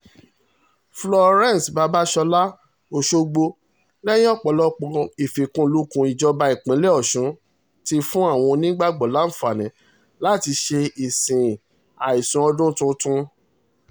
florence babasola ọ̀ṣọ́gbó lẹ́yìn ọ̀pọ̀lọpọ̀ ìfikùnlukùn ìjọba ìpínlẹ̀ ọ̀ṣun ti fún àwọn onígbàgbọ́ láǹfààní láti ṣe ìsìn àìsùn ọdún tuntun